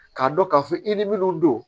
K'a dɔn k'a fɔ i ni minnu don